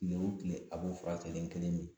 Kile o kile a b'o fura kelen kelen min.